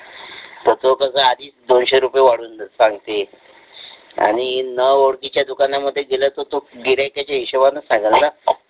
तर तो कसा आधीच दोनशे रुपये वाढवून सांगते आणि न ओळखीच्या दुकानांमध्ये गेला होता तो गिऱ्हाईकाच्या हिशोबाने सांगा ना